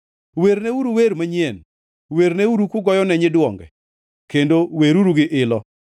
Werneuru wer manyien; werneuru kugoyone nyiduonge kendo weruru gi ilo.